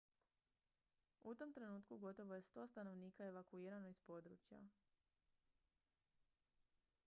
u tom trenutku gotovo je 100 stanovnika evakuirano iz područja